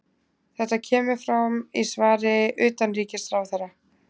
Þetta kemur fram í svari utanríkisráðherra